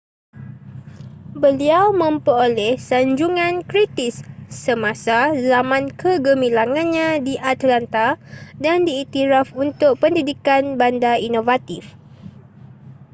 beliau memperoleh sanjungan kritis semasa zaman kegemilangannya di atlanta dan diiktiraf untuk pendidikan bandar inovatif